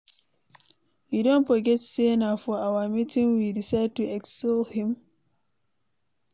You don forget say na for our meeting we decide to exile him.